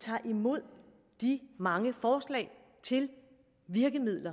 tager imod de mange forslag til virkemidler